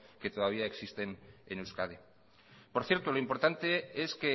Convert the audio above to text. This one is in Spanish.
que todavía existen en euskadi por cierto lo importante es